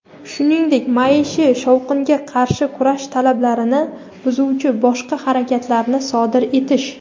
shuningdek maishiy shovqinga qarshi kurash talablarini buzuvchi boshqa harakatlarni sodir etish .